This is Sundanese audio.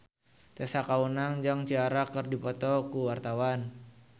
Tessa Kaunang jeung Ciara keur dipoto ku wartawan